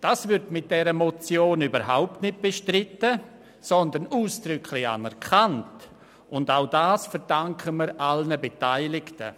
Das wird mit dieser Motion überhaupt nicht bestritten, sondern ausdrücklich anerkannt, und auch das verdanken wir allen Beteiligten.